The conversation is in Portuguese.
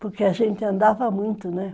Porque a gente andava muito, né?